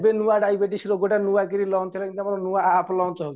ଏବେ ନୂଆ ଡାଇବେଟିସ ରୋଗଟା ନୁଆକିରି lunch ହେଲା ଯେମିତି ଆମର ନୂଆ app lunch ହଉଚି